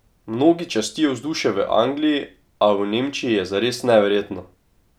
Mnogi častijo vzdušje v Angliji, a v Nemčiji je zares neverjetno!